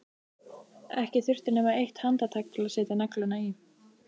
Ekki þurfti nema eitt handtak til að setja negluna í.